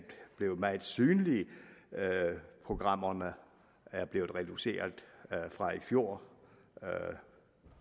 blevet meget synligt programmerne er blevet reduceret fra i fjor